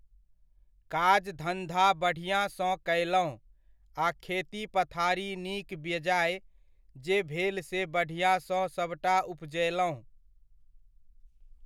काज धन्धा बढ़िऑं सॅं कयलहुॅं, आ खेती पथारी, नीक बेजाए जे भेल से बढ़िऑं सॅं सबटा उपजएलहुॅं।